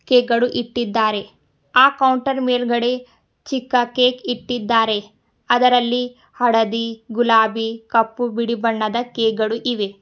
Cake ಗಳು ಇಟ್ಟಿದ್ದಾರೆ ಆ ಕೌಂಟರ್ ಮೇಲ್ಗಡೆ ಚಿಕ್ಕ ಕೇಕ್ ಇಟ್ಟಿದ್ದಾರೆ ಅದರಲ್ಲಿ ಹಳದಿ ಗುಲಾಬಿ ಕಪ್ಪು ಬಿಳಿ ಬಣ್ಣದ ಕೇಕ್ ಗಳು ಇವೆ.